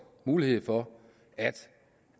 mulighed for at